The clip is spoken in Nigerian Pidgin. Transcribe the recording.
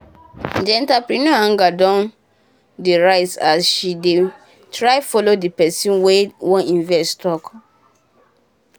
the entrepreneur anger don dey rise as she um dey try follow the pesin wey um wan invest talk.